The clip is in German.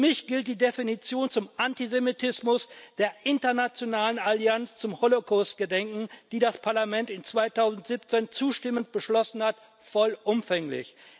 Für mich gilt die Definition von Antisemitismus der Internationalen Allianz zum Holocaust Gedenken, die das Parlament 2017 zustimmend beschlossen hat, vollumfänglich.